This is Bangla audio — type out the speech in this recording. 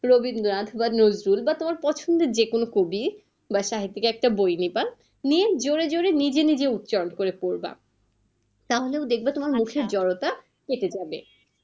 রবীন্দ্রনাথ বা নজরুল বা তোমার পছন্দ যেকোন কবির বাসা থেকে একটা বই নেবা, নিয়ে জোরে জোরে নিজে নিজে উচারণ করে পড়বা তাহলে দেখবে তোমার মুখের জড়তা কেটে যাবে।